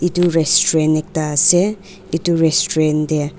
itu restaurant ekta ase itu restaurant dey.